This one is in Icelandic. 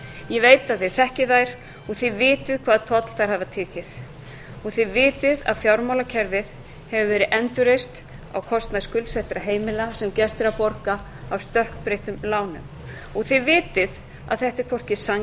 ég veit að þið þekkið þær og þið vitið hvaða toll þær hafa tekið og þið vitið að fjármálakerfið hefur verið endurreist á kostnað skuldsettra heimila sem gert er að borga af stökkbreyttum lánum og þið vitið að þetta er hvorki